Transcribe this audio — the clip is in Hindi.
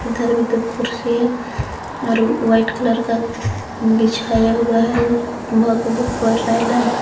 इधर भी दो कुर्सी है और वाइट कलर का बीछाया हुआ है भक भूक बर रहा है लाल--